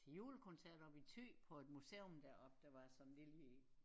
Til julekoncert oppe i Thy på et museum deroppe der var sådan et lille